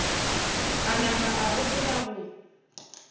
a nama a gopola go